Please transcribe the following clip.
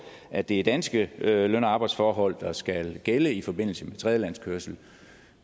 at det er danske løn og arbejdsforhold der skal gælde i forbindelse med tredjelandskørsel